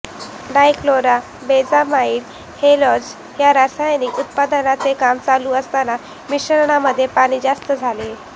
डाय chloro benzamide azole ह्या रासायनिक उत्पादनाचे काम चालू असताना मिश्रणामध्ये पाणी जास्त झाले